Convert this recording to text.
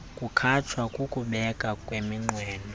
kukhatshwa kukubekwa kweminqweno